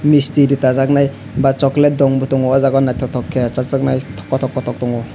misti dota jaknai ba chocolate dong bo tango o jaga naitotok ke chajaknai kotok kotok tongo.